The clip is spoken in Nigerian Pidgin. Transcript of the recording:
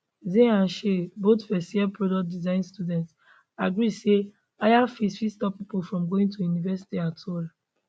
zay and shay both first year product design students agree say higher fees fit stop pipo from going to university at all